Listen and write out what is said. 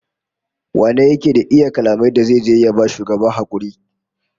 Wane ne yake da iya kalaman da zai je ya ba shugaban hakuri?